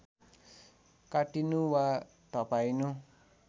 काटिनु वा धपाइनु